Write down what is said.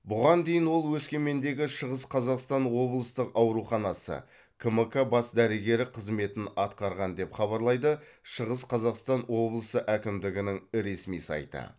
бұған дейін ол өскемендегі шығыс қазақстан облыстық ауруханасы кмк бас дәрігері қызметін атқарған деп хабарлайды шығыс қазақстан облысы әкімдігінің ресми сайты